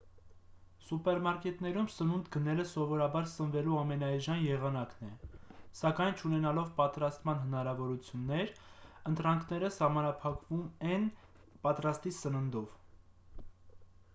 սուպերմարկետներում սնունդ գնելը սովորաբար սնվելու ամենաէժան եղանակն է սակայն չունենալով պատրաստման հնարավորություններ ընտրանքները սահմանափակվում են պատրաստի սննդով